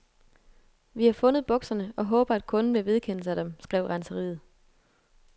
Vi har fundet bukserne og håber, at kunden vil vedkende sig dem, skrev renseriet.